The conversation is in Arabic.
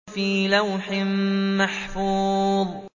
فِي لَوْحٍ مَّحْفُوظٍ